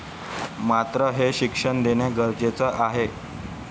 मात्र हे शिक्षण देणं गरजेचंच आहे.